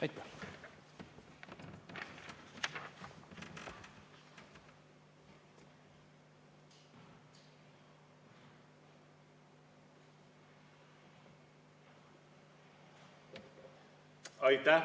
Aitäh!